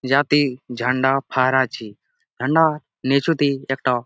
যাতে ঝান্ডা ফার আছে ঝান্ডা নিচুতে একটা --